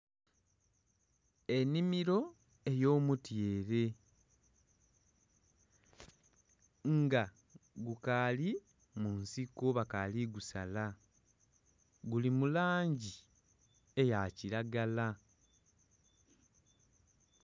Ennhimiro ey'omutyere, nga gukaali mu nsiko bakaali kugusala. Guli mu langi eya kilagala